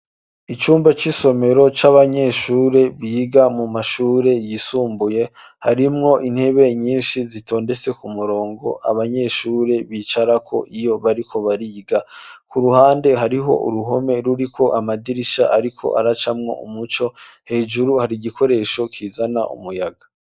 Icumba c'isomero c'abanyeshure biga mu mashure yisumbuye harimwo intebe nyinshi zitondetse ku murongo abanyeshure bicara ko iyo bariko bariga ku ruhande hariho uruhome ruri ko amadirisha ariko aracamwo umuco hejuru hari gikoresho kizana umuyaga.